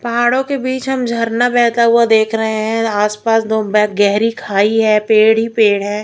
पहाड़ों के बीच हम झरना बेहता हुआ देख रहे हैं आसपास दो बे गेहरी खाई है पेड़ ही पेड़ है।